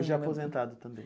Hoje é aposentado também.